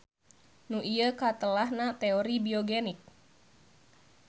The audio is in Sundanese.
Nu ieu katelahna teori biogenik.